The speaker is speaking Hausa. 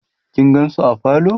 kin gansu a parlor?